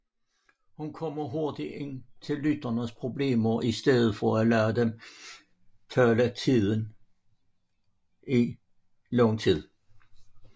Hun kommer hurtigt ind til lytterens problemer i stedet for at lade dem tale i lang tid